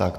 Tak.